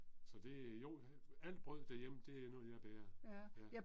Så det jo, alt brød derhjemme det er noget jeg bager. Ja